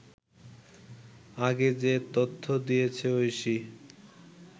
আগে যে তথ্য দিয়েছে ঐশী